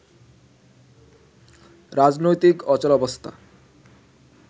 রাজনৈতিক অচলাবস্থা